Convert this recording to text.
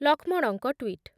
ଲକ୍ଷ୍ମଣଙ୍କ ଟ୍ଵିଟ୍